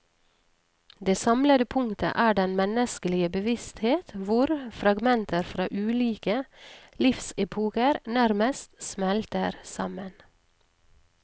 Det samlende punktet er den menneskelige bevissthet hvor fragmenter fra ulike livsepoker nærmest smelter sammen.